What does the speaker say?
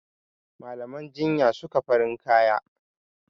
Malaman jinya suka farin kaya.